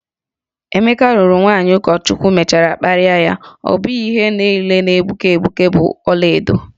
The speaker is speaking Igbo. Emeka lụrụ nwaanyị ụkọchukwu mechara kparịa ya, ọ bụghị ihe niile na-egbuke egbuke bụ ọlaedo.